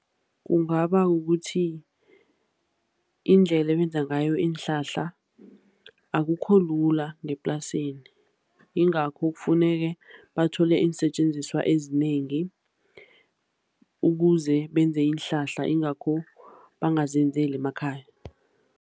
Kungaba kukuthi iindlela ebenza ngayo iinhlahla akukholula ngeplasini, yingakho kufuneke bathole iinsetjenziswa ezinengi ukuze benze iinhlahla, yingakho bangazenzeli emakhaya.